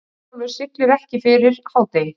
Herjólfur siglir ekki fyrir hádegi